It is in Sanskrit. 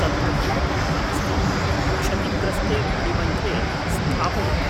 तत्र हिमपुटः अस्ति, क्षतिग्रस्ते मणिबन्धे स्थापयतु।